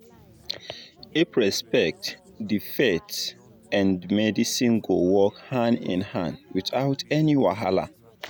if respect dey faith and medicine go work hand in hand without any wahala